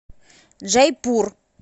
джайпур